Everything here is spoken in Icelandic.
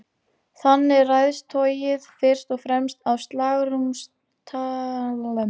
Þannig ræðst togið fyrst og fremst af slagrúmtaki vélarinnar.